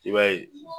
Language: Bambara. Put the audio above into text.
I b'a ye